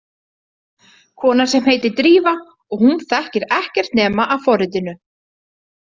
Kona sem heitir Drífa og hún þekkir ekkert nema af forritinu.